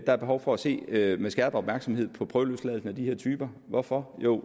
er behov for at se med med skærpet opmærksomhed på prøveløsladelsen af de her typer hvorfor jo